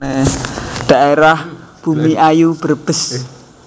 Dhaérah Bumiayu Brebes